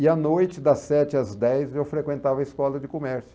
E à noite, das sete às dez, eu frequentava a escola de comércio.